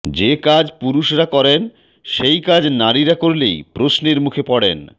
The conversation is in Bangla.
যে কাজ পুরুষরা করেন সেই কাজ নারীরা করলেই প্রশ্নের মুখে পড়েন